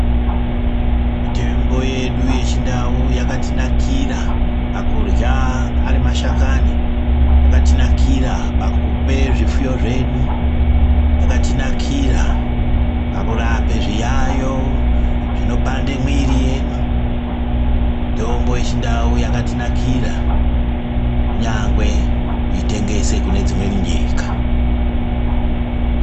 Mitombo yedu yechindau yakatinakira pakurywa ari mashakani , yakatinakira pakupe zvipfuyo zvedu , yakatinakira pakurapa zviyayo zvinopande mwiri yedu. Mitombo yechindau yakatinakira kunyangwe kuitengesa kune dzimweni nyika .